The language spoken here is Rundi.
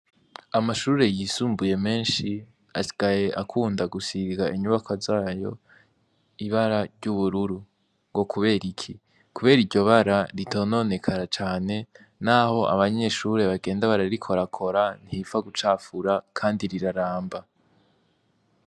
Amashure yisumbuye menshi asigaye akunda gusiga inyubakwa zayo ibara ryubururu ngo kuberiki nikubera iryo bara ritononekara cane naho abanyeshure bagenda bararikorakora ntiripfa kucafura kandi riraramba.